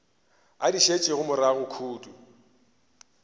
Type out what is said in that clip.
a di šetšego morago kudu